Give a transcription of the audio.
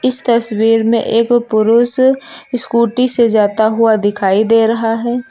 इस तस्वीर में एक पुरुष स्कूटी से जाता हुआ दिखाई दे रहा है।